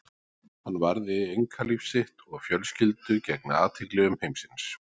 hann varði einkalíf sitt og fjölskyldu gegn athygli umheimsins